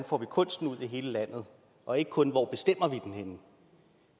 får kunsten ud i hele landet og ikke kun hvor